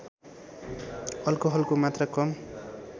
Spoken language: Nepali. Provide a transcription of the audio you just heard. अल्कोहलको मात्रा कम